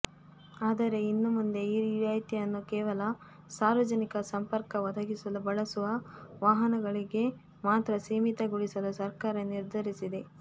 ಆದರೆ ಇನ್ನು ಮುಂದೆ ಈ ರಿಯಾಯ್ತಿಯನ್ನು ಕೇವಲ ಸಾರ್ವಜನಿಕ ಸಂಪರ್ಕ ಒದಗಿಸಲು ಬಳಸುವ ವಾಹನಗಳಿಗೆ ಮಾತ್ರ ಸೀಮಿತಗೊಳಿಸಲು ಸರ್ಕಾರ ನಿರ್ಧರಿಸಿದೆ